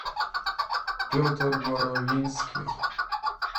петр боровинских